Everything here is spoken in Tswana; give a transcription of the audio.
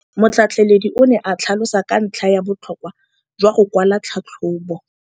Motlhatlheledi o ne a tlhalosa ka ntlha ya botlhokwa jwa go kwala tlhatlhôbô.